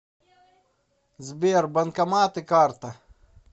сбер банкоматы карта